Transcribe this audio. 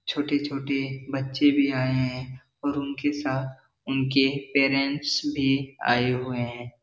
छोटी-छोटी बच्चे भी आये हैं और उनके साथ उनके पेरेंट्स भी आये हुए हैं ।